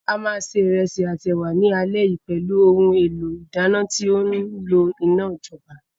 A máa ṣe ìrẹsì àti ẹ̀wà ní alẹ́ yìí pẹ̀lú ohun èlò ìdáná tí ó ńlo iná ìjọba.